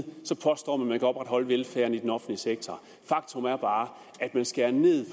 påstår man kan opretholde velfærden i den offentlige sektor faktum er bare at man skærer ned